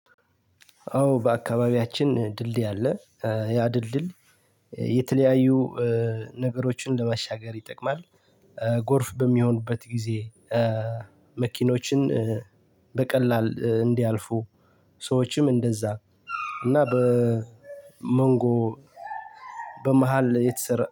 አዎ በአካባቢያችን ድንድይ አለ ያ ድልድይ የተለያዩ ነገሮችን ለማሻገር ይጠቅማል። ጎርፍ በሚሆንበት ጊዜ መኪኖችን በቀላል እንዲያልፉ ሰዎችም እንደዛ እና በመንጎ በመሃል የተሰራ